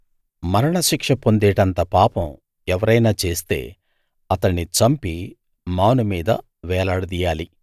మరణశిక్ష పొందేటంత పాపం ఎవరైనా చేస్తే అతణ్ణి చంపి మాను మీద వేలాడదీయాలి